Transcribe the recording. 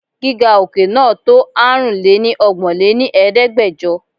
Gíga òkè náà to Aárùn lé ní ọgbọ́n lé ní Ẹ̀ẹ́dẹ́gbẹjọ.